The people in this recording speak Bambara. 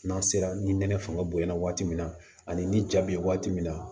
N'an sera ni nɛnɛ fanga bonyana waati min na ani ni ja bɛ ye waati min na